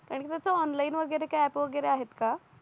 आणि कस ऑनलाइन वगैरे काय यांप वगैरे आहेत